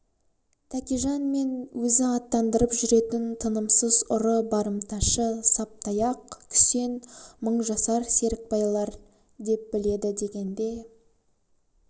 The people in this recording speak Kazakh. тәкежан мен өзі аттандырып жүретін тынымсыз ұры барымташы саптаяқ күсен мыңжасар серікбайлар деп біледі дегенде